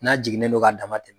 N'a jiginnen don k'a dama tɛmɛ